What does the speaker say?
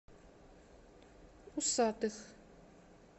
усатых